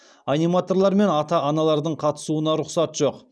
аниматорлар мен ата аналардың қатысуына рұқсат жоқ